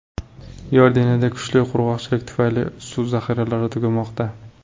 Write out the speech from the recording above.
Iordaniyada kuchli qurg‘oqchilik tufayli suv zaxiralari tugamoqda.